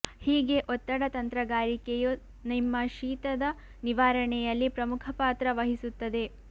ಹೀಗೆ ಒತ್ತಡ ತಂತ್ರಗಾರಿಕೆಯು ನಿಮ್ಮ ಶೀತದ ನಿವಾರಣೆಯಲ್ಲಿ ಪ್ರಮುಖ ಪಾತ್ರ ವಹಿಸುತ್ತದೆ